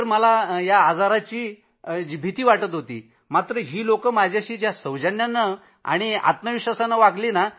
तर पहिल्यांदा जी भीती होती त्यानंतर असं वाटलं की इतक्या चांगल्या लोकांबरोबर मी आहे